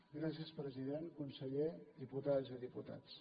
gràcies president conseller diputades i diputats